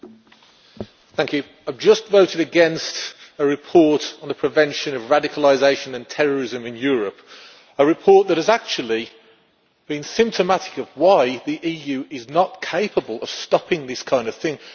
Mr President, I have just voted against a report on the prevention of radicalisation and terrorism in Europe, a report that has actually been symptomatic of why the EU is not capable of stopping this kind of thing.